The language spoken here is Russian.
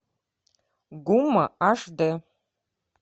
гума аш дэ